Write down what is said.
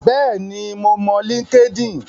Bẹ́ẹ̀ ni, mo mọ Linkedin.